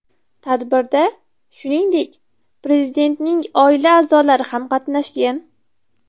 Tadbirda, shuningdek, Prezidentning oila a’zolari ham qatnashgan .